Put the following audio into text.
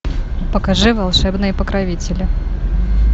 покажи волшебные покровители